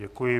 Děkuji.